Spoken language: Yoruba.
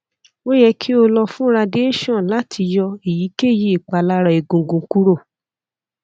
o yẹ ki o lọ fun radiation lati yọ eyikeyi ipalara egungun kuro